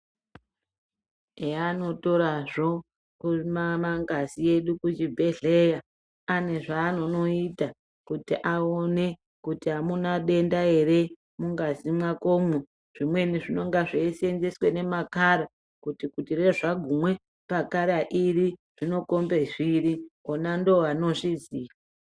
Heanotorazvo mangazi edu kuchibhedhleya ane zvaanonoita kuti aone kuti amuna denda ere mungazi mwakomwo. Zvimweni zvinonga zveiseenzeswe ngemakara kuti zvagumwe pakara iri, rinokombe zviri, ona ndoovanozviziya.